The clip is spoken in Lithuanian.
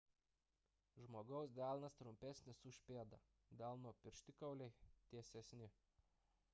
žmogaus delnas trumpesnis už pėdą delno pirštikauliai tiesesni